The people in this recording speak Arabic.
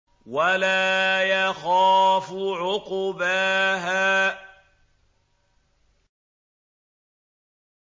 وَلَا يَخَافُ عُقْبَاهَا